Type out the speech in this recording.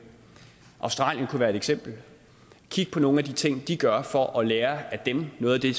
australien kunne være et eksempel og kigge på nogle af de ting de gør for at lære af dem noget af det